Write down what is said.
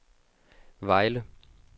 Vejle